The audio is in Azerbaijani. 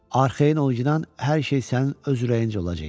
Arxayın ol, cidan, hər şey sənin öz ürəyinəcə olacaq.